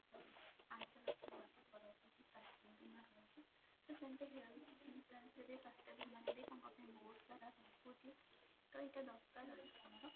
ପାଞ୍ଚ ଲକ୍ଷ ପର୍ଯ୍ୟନ୍ତ ସ୍ୱାସ୍ଥ୍ୟ ବୀମା ରହୁଛି ତ ସେମିତି health insurance ରେ ବି ସ୍ୱାସ୍ଥ୍ୟ ବୀମାରେ ବି ତାଙ୍କ ପାଇଁ ବହୁତ ସାରା ରହୁଛି ତ ଏଇଟା ଦରକାର ଅଛି ଆମର